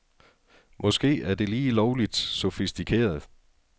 Måske er det lige lovligt sofistikeret.